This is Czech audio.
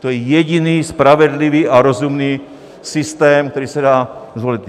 To je jediný spravedlivý a rozumný systém, který se dá zvolit.